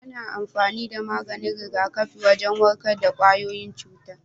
Ana amfani da maganin rigakafi wajen warkar da kwayoyin cuta.